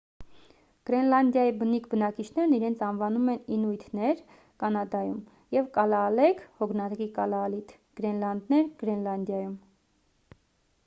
գրենլանդիայի բնիկ բնակիչներն իրենց անվանում են ինուիթներ կանադայում և կալաալեք հոգնակի՝ կալաալիթ գրենլանդեր՝ գրենլանդիայում: